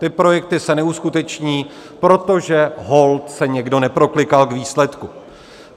Ty projekty se neuskuteční, protože holt se někdo neproklikal k výsledku.